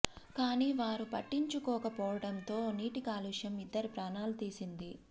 కానీ వారు పట్టించుకోక పోవడంతో నీటి కాలుష్యం ఇద్దరి ప్రాణాలు తీసింది